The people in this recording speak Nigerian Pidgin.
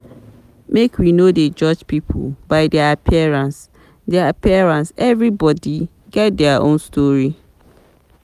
Make we no dey judge pipo by their appearance, their appearance, everybodi get their own story.